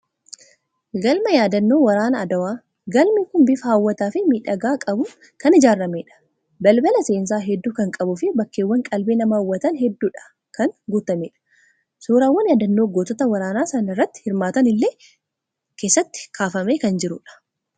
Galma yaadannoo waraana Adowaa. Galmi kun bifa hawwataa fi miidhagina qabuun kan ijaarameedha. Balbala seensaa hedduu kan qabuu fi bakkeewwan qalbii namaa hawwatan hedduudhaan kan guutameedha. Suuraan yaadannoo gootota waraana sana irratti hirmaatanii illee keessatti kaafamee kan jirudha.